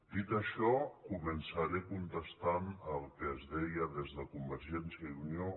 dit això començaré contestant el que es deia des de convergència i unió